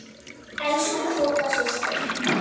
Elsku Tóta systir.